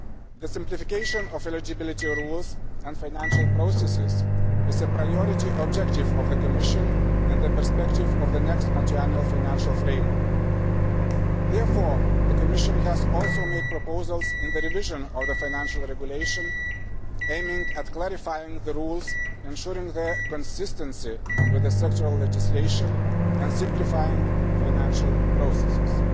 The simplification of eligibility rules and financial processes is a priority objective of the Commission in the perspective of the next Multiannual Financial Framework. Therefore, the Commission has also made proposals for the revision of the Financial Regulation aimed at clarifying the rules, ensuring their consistency with sectoral legislation and simplifying financial processes.